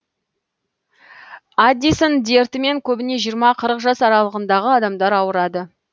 аддисон дертімен көбіне жиырма қырық жас аралығындағы адамдар ауырады